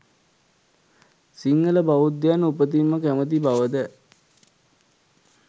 සිංහල බෞද්ධයන් උපතින්ම කැමති බවද